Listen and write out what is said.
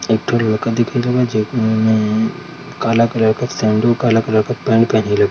एकठो लड़का दिखेल बा जेब में काला कलर का सेंडो काला कलर का पैंट पहनील बा ।